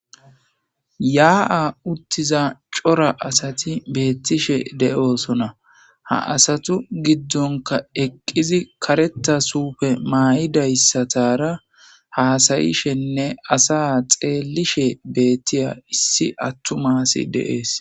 Yaa7a utiza cora asati beetishe de7oosona. Ha asatu gidonkka eqqizi kareththa suufe mayizayssatara hasayishenne asa xeelishe beetiya issi atuma asi de7ees.